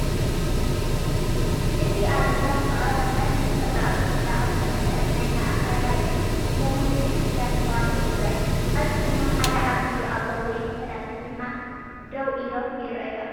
እዚ ኣብ እምባ ዝተቐርጸን ብተፈጥሮኣዊ ጽባቐ ዝተመልአን ናይ ማእከላይ ዘመን ቤተ ክርስቲያን ምዃኑ ይሕብር። ኣብዚ ድማ ሓደ ዓበይ ኣቦ ውይም ፈላሲ ደው ኢሎም ይረኣዩ ኣለው።